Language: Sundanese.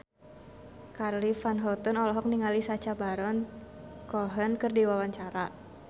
Charly Van Houten olohok ningali Sacha Baron Cohen keur diwawancara